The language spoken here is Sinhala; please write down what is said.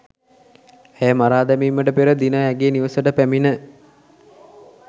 ඇය මරා දැමිමට පෙර දින ඇගේ නිවසට පැමිණ